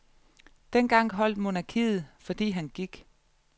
Dengang holdt monarkiet, fordi han gik.